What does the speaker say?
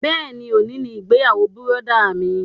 Bẹ́ẹ̀ni, òní ni ìgbéyàwó bùrọ̀dá mi